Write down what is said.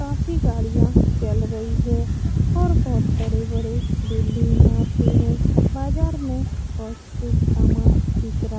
काफी गाड़ियां चल रही है और बहुत बड़े-बड़े बिल्डिंग यहाँ पे है बाजार में बहुत से सामान बिक रहा --